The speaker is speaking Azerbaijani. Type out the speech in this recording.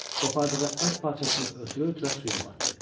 Qopardığı ət parçasını ötürə-ötürə suya batdı.